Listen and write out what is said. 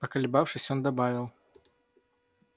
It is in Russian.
поколебавшись он добавил